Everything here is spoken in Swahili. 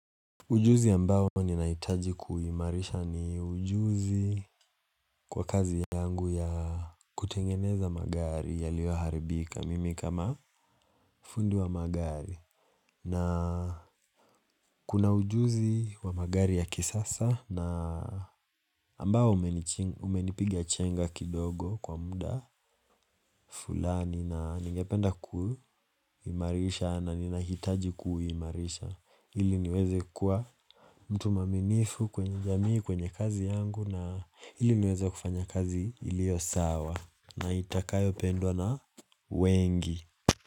Ujuzi ambao ninahitaji kuhimarisha ni ujuzi kwa kazi yangu ya kutengeneza magari yaliyo haribika mimi kama fundi wa magari na kuna ujuzi wa magari ya kisasa na ambao umenipiga chenga kidogo kwa muda fulani na ningependa kuhimarisha na ni nahitaji kuhimarisha ili niweze kuwa mtu maminifu kwenye jamii kwenye kazi yangu na ili niweze kufanya kazi ilio sawa na itakayo pendwa na wengi.